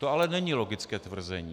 To ale není logické tvrzení.